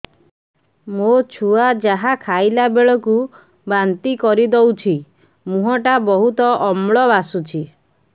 ମୋ ଛୁଆ ଯାହା ଖାଇଲା ବେଳକୁ ବାନ୍ତି କରିଦଉଛି ମୁହଁ ଟା ବହୁତ ଅମ୍ଳ ବାସୁଛି